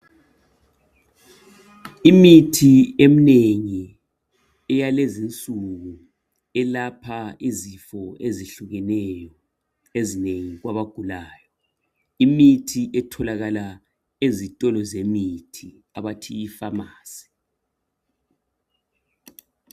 Imithi eminengi eyalezi insuku elapha izifo ezehlukeneyo ezinengi kwabagulayo. Imithi etholakala ezitolo zemithi abathi i"Pharmacy ".